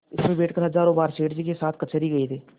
इसमें बैठकर हजारों बार सेठ जी के साथ कचहरी गये थे